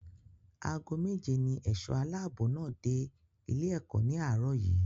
Ago méje ní ẹ̀ṣọ́ aláàbò náà dé ilé-ẹ̀kọ́ ní àárọ̀ yìí.